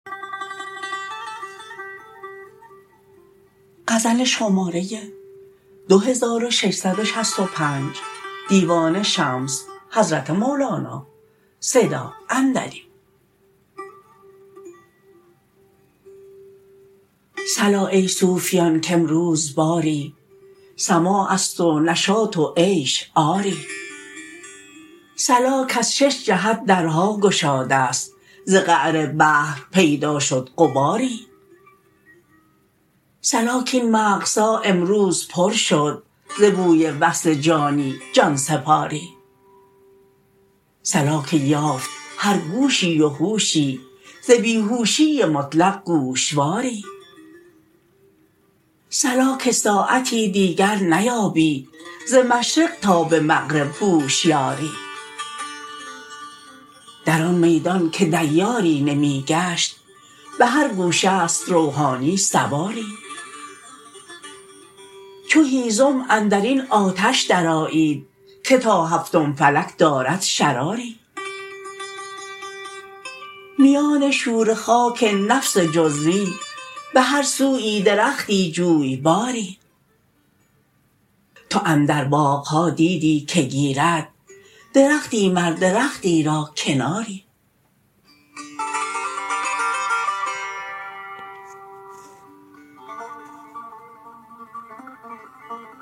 صلا ای صوفیان کامروز باری سماع است و نشاط و عیش آری صلا کز شش جهت درها گشاده ست ز قعر بحر پیدا شد غباری صلا کاین مغزها امروز پر شد ز بوی وصل جانی جان سپاری صلا که یافت هر گوشی و هوشی ز بی هوشی مطلق گوشواری صلا که ساعتی دیگر نیابی ز مشرق تا به مغرب هوشیاری در آن میدان که دیاری نمی گشت به هر گوشه ست روحانی سواری چو هیزم اندر این آتش درآیید که تا هفتم فلک دارد شراری میان شوره خاک نفس جزوی به هر سویی درختی جویباری تو اندر باغ ها دیدی که گیرد درختی مر درختی را کناری